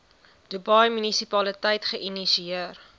dubai munisipaliteit geïnisieer